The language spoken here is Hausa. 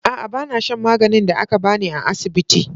A'a, ba na shan maganin da aka ba ni a asibiti.